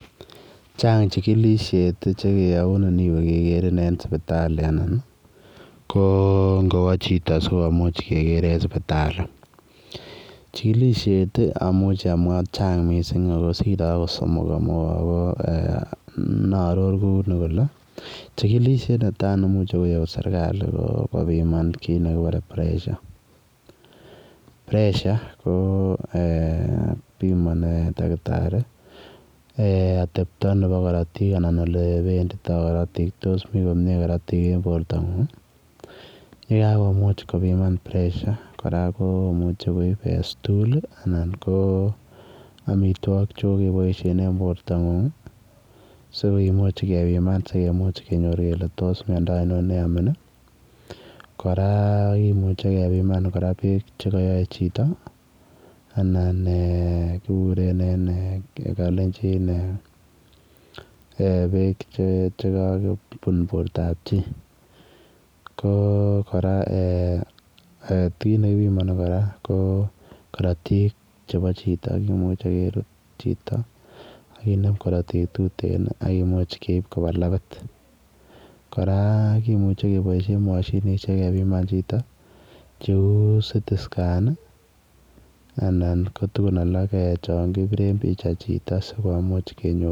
Chaang chikilisheet che keyauun iniweeh kegeriin en sipitali anan ii ngowaah chitoo sikomuuch keger en sipitali chikilisheet amuuchi amwaa akoot siree akoot somok inaaror Kuni kole chikilisheet neimuchei koyaun serikali ko kiit nekiteen [pressure] pressure ko eeh bimanii dakitari eeh ate ta nebo karotiik olebenditoi karotiik tos mii komyei karotiik en borto nguung ye kakobimaan karotiik komuchei koib [stool] anan ko amitwagik che kobaishen en borto nguung sikomuuch kebimaan sikonyor kele tos miando ainon ne yamiin kora kimuchei kebimaan beek che kayae chito anan eeh kiguren en kalenjin beek che kakobuun borta ab chii ko kora eeh ko kiit nekibimani ko karotiik chebo chitoo a kimuchei kesuut chito akinem karotiik tureen ii akomuuch keib kobaa lapiit kora kimuchei kebaishen mashinisheek kebimaan chitoo che [CT scan] anan ko tuguun alaak chaang kibireen pichai chitoo sikomuuch konyoor.